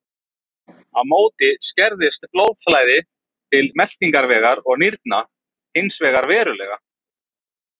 Á móti skerðist blóðflæði til meltingarvegar og nýrna hins vegar verulega.